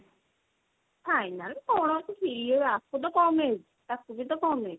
final କଣ ଅଛି ସିଏ ଆକୁ ତ କମ age ତାକୁ ବି ତ କମ age